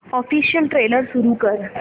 official trailer सुरू कर